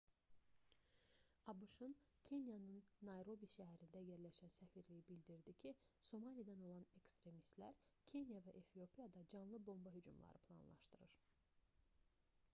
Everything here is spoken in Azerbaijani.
abş-ın kenyanın nayrobi şəhərində yerləşən səfirliyi bildirdi ki somalidən olan ekstremistlər kenya və efiopiyada canlı bomba hücumları planlaşdırır